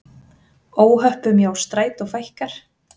Óhöppum hjá Strætó fækkar